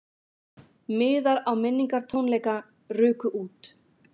Miðar á minningartónleika ruku út